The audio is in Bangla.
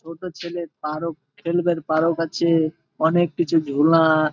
ছোট ছেলে তারও খেলবার কারও কাছে অনেক কিছু ঘেমা-আ--